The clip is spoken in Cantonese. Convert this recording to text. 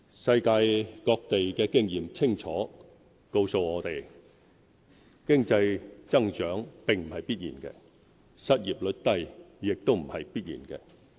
世界各地的經驗清楚告訴我們：經濟增長並不是必然的，失業率低也不是必然的。